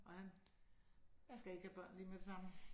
Og han skal ikke lave børn lige med det samme?